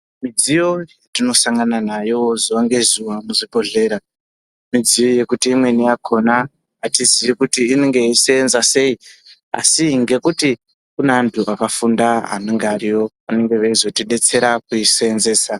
Midziyo yatinosangana nayo zuwa ngezuwa muzvibhodhlera midziyo yekuti imweni yakhona atizii kuti inenge yeiseenza sei asi ngekuti kune antu akafunda anenga ariyo anenge veizotidetsera kuisenzesa.